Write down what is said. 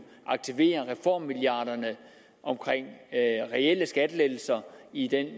aktivere reformmilliarderne omkring reelle skattelettelser i den